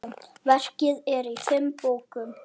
Verkið er í fimm bókum.